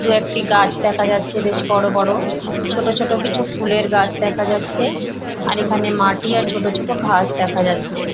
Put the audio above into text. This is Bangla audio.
দু একটি গাছ দেখা যাচ্ছে বেশ বড়ো বড়ো ছোট ছোট কিছু ফুলের গাছ দেখা যাচ্ছে আর এখানে মাটি আর ছোট ছোট ঘাস দেখা যাচ্ছে।